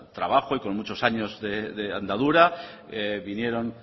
trabajo y con muchos años de andadura vinieron